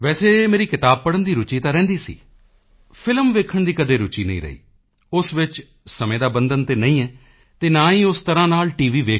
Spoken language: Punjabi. ਵੈਸੇ ਮੇਰੀ ਕਿਤਾਬ ਪੜ੍ਹਨ ਦੀ ਰੁਚੀ ਤਾਂ ਰਹਿੰਦੀ ਸੀ ਫ਼ਿਲਮ ਵੇਖਣ ਦੀ ਕਦੇ ਰੁਚੀ ਨਹੀਂ ਰਹੀ ਉਸ ਵਿੱਚ ਸਮੇਂ ਦਾ ਬੰਧਨ ਤਾਂ ਨਹੀਂ ਹੈ ਅਤੇ ਨਾ ਹੀ ਉਸ ਤਰ੍ਹਾਂ ਨਾਲ ਟੀ